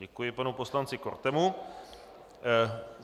Děkuji panu poslanci Kortemu.